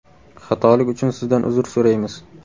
Xatolik uchun Sizdan uzr so‘raymiz.